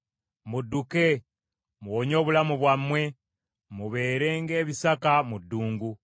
Mudduke! Muwonye obulamu bwammwe; mubeere ng’ebisaka mu ddungu.